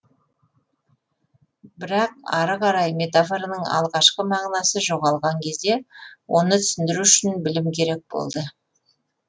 бірақ ары қарай метафораның алғашқы мағынасы жоғалған кезде оны түсіндіру үшін білім керек болды